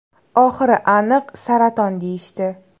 Oxiri aniq saraton deyishdi.